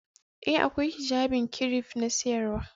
Ee, akwai Hijjabin kiref na siryawa.